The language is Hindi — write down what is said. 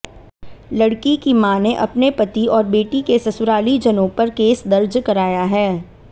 लड़की की मां ने अपने पति और बेटी के ससुरालीजनों पर केस दर्ज कराया है